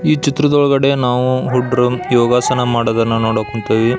ಈ ಚಿತ್ರದೊಳಗಡೆ ನಾವು ಹುದುಗ್ರು ಯೋಗಾಸನ ಮಾಡುವುದನ್ನು ನೋಡಕ್ ಹೊಂಥಿವಿ.